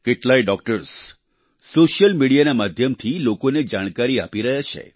કેટલાય doctors social મીડિયાના માધ્યમથી લોકોને જાણકારી આપી રહ્યા છે